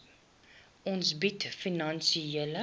fonds bied finansiële